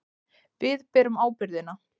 Við berum ábyrgðina.